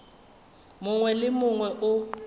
mongwe le wo mongwe o